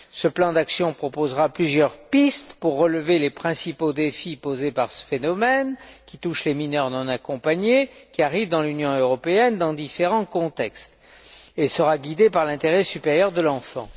Ce plan d'action proposera plusieurs pistes pour relever les principaux défis posés par ce phénomène, qui touche les mineurs non accompagnés qui arrivent dans l'Union européenne dans différents contextes, et sera guidé par l'intérêt supérieur de l'enfant.